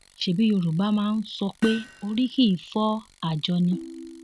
ṣebí yorùbá máa ń sọ pé orí kì í fọ àjọ ni